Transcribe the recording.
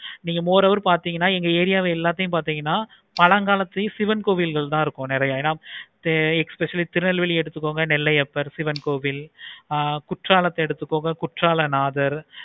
நீங்க more hour வந்துச்சின அந்த area எல்லாத்தையும் பார்த்தீங்கன்னா பழங்காலத்துலையும் சிவன் கோவில்கள் தான் நெறைய இருக்கும். especially திருநெல்வேலி எடுத்துக்கோங்க நெல்லையப்பர் சிவன் கோவில் ஆஹ் குற்றாலத்தை எடுத்துக்கோங்க குற்றாலநாதர்